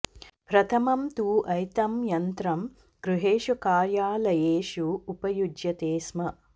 प्रथमं तु एतं यन्त्रं गृहेषु कार्यालयेषु उपयुज्यते स्म